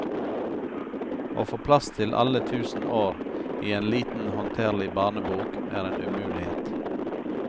Å få plass til alle tusen år i en liten håndterlig barnebok er en umulighet.